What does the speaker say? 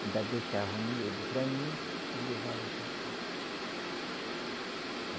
ainda deixava o miúdo para mim e levavam só a carne